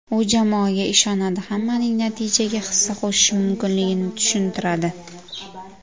U jamoaga ishonadi, hammaning natijaga hissa qo‘shishi mumkinligini tushuntiradi.